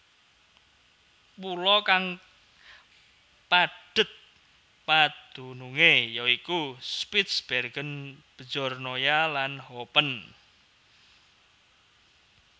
Pulo kang padhet padunungé ya iku Spitsbergen Bjornoya lan Hopen